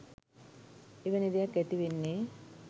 එවැනි දෙයක් ඇතිවෙන්නේ?